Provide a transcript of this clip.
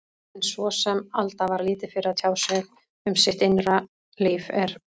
En svo sem Alda var lítið fyrir að tjá sig um sitt innra líf, er